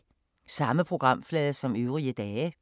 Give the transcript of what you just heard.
Samme programflade som øvrige dage